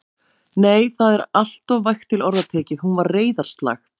Nei, það er alltof vægt til orða tekið: hún var reiðarslag.